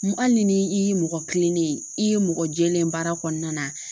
Hali ni i y'i mɔgɔ kilennen ye, i ye mɔgɔ jɛlen baara kɔnɔna na